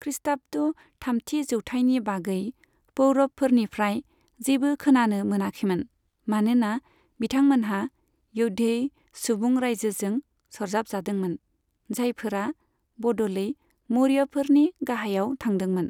खृष्टाब्द थामथि जौथायनि बागै पौरवफोरनिफ्राय जेबो खोनानो मोनाखैमोन, मानोना बिथांमोनहा यौधेय सुबुं रायजोजों सरजाबजादोंमोन, जायफोरा बदलै मौर्यफोरनि गाहायाव थांदोंमोन।